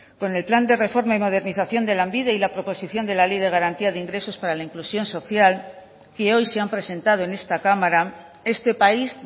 con el plan de reforma y modernización de lanbide y la proposición de la ley de garantía de ingresos y para la inclusión social que hoy se han presentado en esta cámara este país